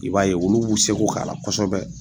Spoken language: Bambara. I b'a ye ulu b'u seko k'a la kɔsɔbɛ.